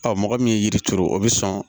Ɔ mɔgɔ min ye yiri turu o bɛ sɔn